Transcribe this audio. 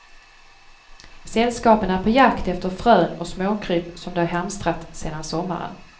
Sällskapen är på jakt efter frön och småkryp som de hamstrat sedan sommaren.